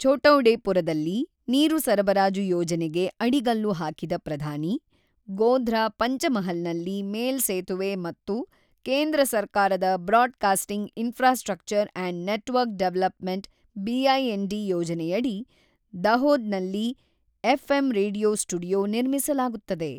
ಛೋಟೌಡೆಪುರದಲ್ಲಿ ನೀರು ಸರಬರಾಜು ಯೋಜನೆಗೆ ಅಡಿಗಲ್ಲು ಹಾಕಿದ ಪ್ರಧಾನಿ ಗೋಧ್ರಾ, ಪಂಚಮಹಲ್ನಲ್ಲಿ ಮೇಲ್ಸೇತುವೆ ಮತ್ತು ಕೇಂದ್ರ ಸರ್ಕಾರದ broadcasting infrastructure and network development B I N D ಯೋಜನೆಯಡಿ, ದಹೋದ್ನಲ್ಲಿ ಎಫ್ಎಂ ರೇಡಿಯೊ ಸ್ಟುಡಿಯೊ ನಿರ್ಮಿಸಲಾಗುತ್ತದೆ.